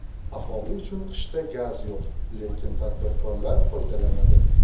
Aholi uchun qishda gaz yo‘q, lekin tadbirkorlar foydalanadi.